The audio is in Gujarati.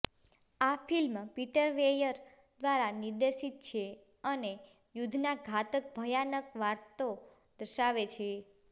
આ ફિલ્મ પીટર વેયર દ્વારા નિર્દેશિત છે અને યુદ્ધના ઘાતક ભયાનક વાતો દર્શાવે છે